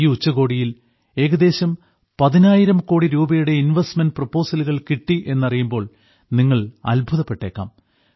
ഈ ഉച്ചകോടിയിൽ ഏകദേശം പതിനായിരം കോടി രൂപയുടെ ഇൻവെസ്റ്റ്മെന്റ് പ്രൊപ്പോസലുകൾ കിട്ടി എന്നറിയുമ്പോൾ നിങ്ങൾ അത്ഭുതപ്പെട്ടേയ്ക്കാം